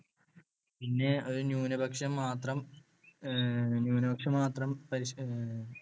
ഒരു ന്യൂനപക്ഷം മാത്രം ന്യൂനപക്ഷം മാത്രം